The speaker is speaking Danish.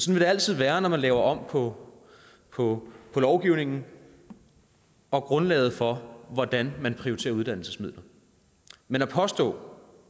vil det altid være når man laver om på på lovgivningen og grundlaget for hvordan man prioriterer uddannelsesmidler men at påstå